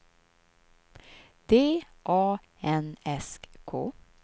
D A N S K